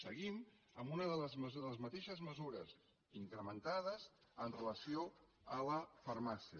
seguim amb les mateixes mesures incrementades amb relació a la farmàcia